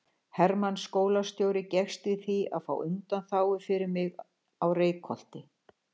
Hermann skólastjóri gekkst í því að fá undanþágu fyrir mig á Reykholti.